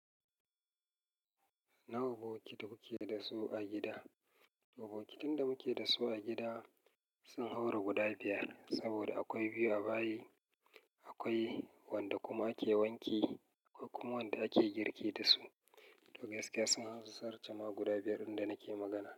Na bokiti muke da su a gida. Bokitin da muke da su a gida sun haura guda biyar saboda akwai biyu a bayi, akwai wanda kuma ake wanke, akwai kuma wanda ake girki da su. Duk da gaske sun zartama guda biyar ɗin da nake magana.